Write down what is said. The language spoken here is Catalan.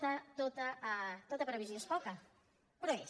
tota tota previsió és poca però és